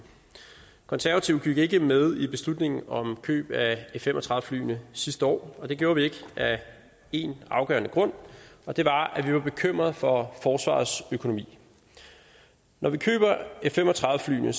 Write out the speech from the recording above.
konservative gik ikke med i beslutningen om køb af f fem og tredive flyene sidste år og det gjorde vi ikke af én afgørende grund og det var at vi var bekymrede for forsvarets økonomi når vi køber f fem og tredive flyene